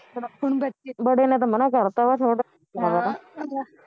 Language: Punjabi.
ਬੜੇ ਨੇ ਤਾਂ ਮਨਾ ਕਰਤਾ ਵਾ ਛੋਟੇ ਨੂੰ ਪੁੱਛਣ ਪੈਣਾ